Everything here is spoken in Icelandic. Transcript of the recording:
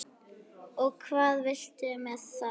Og hvað viltu með það?